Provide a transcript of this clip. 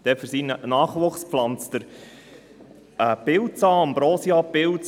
Denn für seinen Nachwuchs pflanzt er einen Pilz an, den Ambrosiapilz.